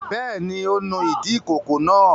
Bẹ́ẹ̀ ni, ó nu ìdí ìkókó náà.